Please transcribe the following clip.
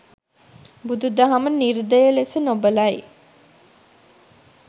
බුදු දහම නිර්දය ලෙස නොබලයි.